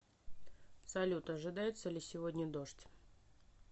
салют ожидается ли сегодня дождь